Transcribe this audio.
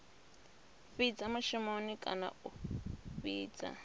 fhidza mushumoni kana a fhidza